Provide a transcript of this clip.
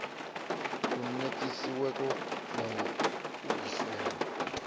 u netiweka na lu ugisela